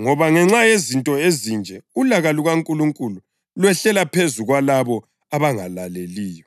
ngoba ngenxa yezinto ezinje ulaka lukaNkulunkulu lwehlela phezu kwalabo abangalaleliyo.